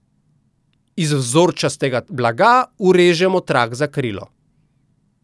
Iz vzorčastega blaga urežemo trak za krilo.